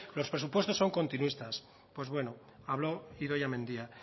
los presupuestos son continuistas pues bueno habló idoia mendia